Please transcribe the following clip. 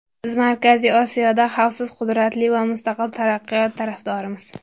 Biz Markaziy Osiyoda xavfsiz, qudratli va mustaqil taraqqiyot tarafdorimiz.